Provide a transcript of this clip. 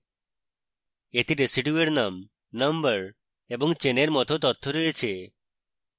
এতে residue এর name number এবং চেনের it তথ্য রয়েছে